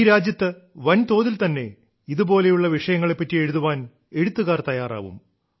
ഈ രാജ്യത്ത് വൻ തോതിൽ തന്നെ ഇതുപോലുള്ള വിഷയങ്ങളെപ്പറ്റി എഴുതാൻ എഴുത്തുകാർ തയ്യാറാവും